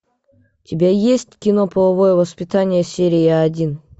у тебя есть кино половое воспитание серия один